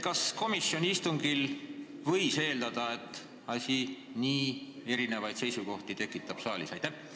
Kas komisjoni istungil võis eeldada, et see asi saalis nii erinevaid seisukohti tekitab?